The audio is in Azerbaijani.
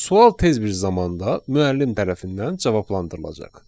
Sual tez bir zamanda müəllim tərəfindən cavablandırılacaq.